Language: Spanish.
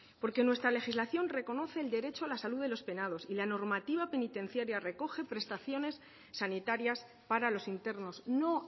porque nuestra legislación reconoce el derecho a la salud de los penados y la normativa penitenciaria recoge prestaciones sanitarias para los internos no